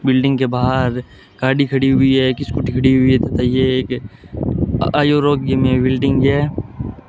Building के बाहर गाड़ी खड़ी हुई है एक स्कूटी खड़ी हुई है बताइए एक आयो रोग्य में बिल्डिंग है।